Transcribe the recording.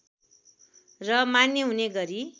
र मान्य हुने गरी